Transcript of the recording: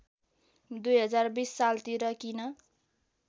२०२० सालतिर किन